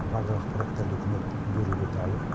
барлық ақпараттарды үкімет беруге дайын